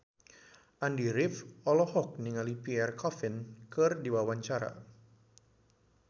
Andy rif olohok ningali Pierre Coffin keur diwawancara